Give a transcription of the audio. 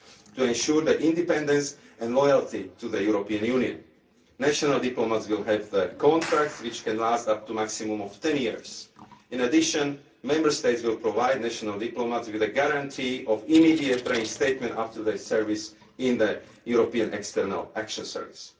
apply to ensure their independence and loyalty to the European Union. National diplomats will have contracts which can last up to a maximum of ten years. In addition, Member States will provide national diplomats with a guarantee of immediate reinstatement after their service in the European External Action Service.